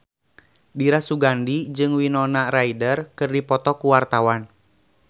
Dira Sugandi jeung Winona Ryder keur dipoto ku wartawan